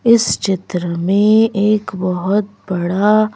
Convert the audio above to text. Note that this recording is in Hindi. इस चित्र में एक बहोत बड़ा--